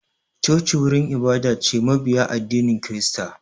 Choci wurin ibada ce na mabiya addinin kirista